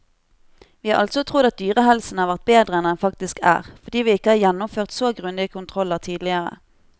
Vi har altså trodd at dyrehelsen har vært bedre enn den faktisk er, fordi vi ikke har gjennomført så grundige kontroller tidligere.